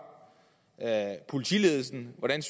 politiledelsen hvordan